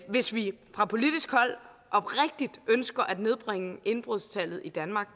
hvis vi fra politisk hold oprigtigt ønsker at nedbringe indbrudstallet i danmark